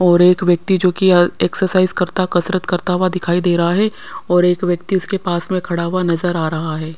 और एक व्यक्ति जो कि अह एक्सरसाइज करता कसरत करता हुआ दिखाई दे रहा है और एक व्यक्ति उसके पास में खड़ा हुआ नजर आ रहा है।